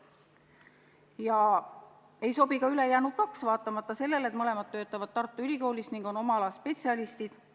Ja ei sobi ka ülejäänud kaks, vaatamata sellele et mõlemad töötavad Tartu Ülikoolis ning on oma ala spetsialistid.